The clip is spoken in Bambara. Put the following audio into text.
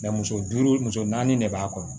muso duuru muso naani de b'a kɔnɔ